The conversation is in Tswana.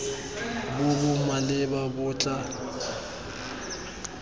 bo bo maleba bo tla